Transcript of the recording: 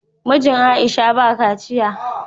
Mijin Aisha ba a kaciya